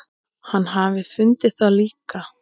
Hann hafi fundið það líka.